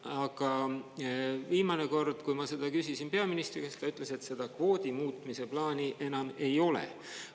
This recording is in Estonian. Aga viimane kord, kui ma seda küsisin peaministri käest, ta ütles, et seda kvoodi muutmise plaani enam ei ole.